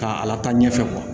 K'a ala ta ɲɛfɛ